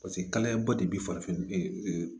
Paseke kalaya ba de bi farafin